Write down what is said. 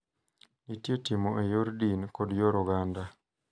Nitie timo e yor din kod yor oganda.